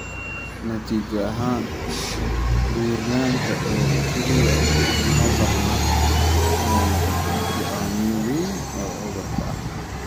Natiijo ahaan, buurnaanta oo keliya uma badna inay noqoto go'aamiye weyn oo cudurkan ah.